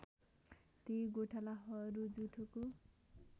ती गोठालाहरू जुठोको